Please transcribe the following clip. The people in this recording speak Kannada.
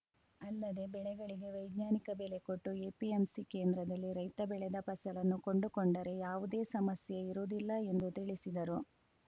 ಅಲ್ಲದೆ ಬೆಳೆಗಳಿಗೆ ವೈಜ್ಞಾನಿಕ ಬೆಲೆ ಕೊಟ್ಟು ಎಪಿಎಂಸಿ ಕೇಂದ್ರದಲ್ಲಿ ರೈತ ಬೆಳೆದ ಫಸಲನ್ನು ಕೊಂಡುಕೊಂಡರೆ ಯಾವುದೇ ಸಮಸ್ಯೆ ಇರುವುದಿಲ್ಲ ಎಂದು ತಿಳಿಸಿದರು